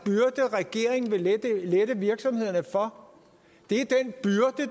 regeringen vil lette virksomhederne for det